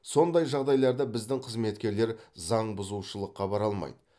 сондай жағдайларда біздің қызметкерлер заңбұзушылыққа бара алмайды